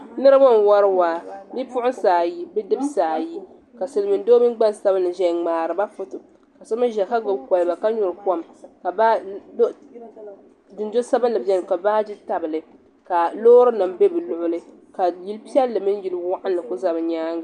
Niribi n wari waa bipuɣsi ayi bidibsi ayi ka silmin doo mini gbansabili ƶɛya n mŋaari ba foto ka so mi ƶɛya ka gbɛbi kolba ka nyuri kom ka dundoli sabili bɛni ka baagi tabli ka lorry nim bɛ bi luɣuli ka yili pɛilli mini yili waɣali bɛ bi nyaaŋa.